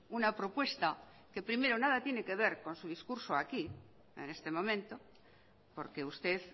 una propuesta que primero nada tiene que ver con su discurso aquí en este momento porque usted